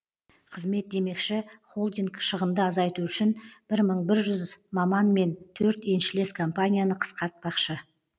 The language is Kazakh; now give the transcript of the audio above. қызмет демекші холдинг шығынды азайту үшін бір мың бір жүз маман мен төрт еншілес компанияны қысқартпақшы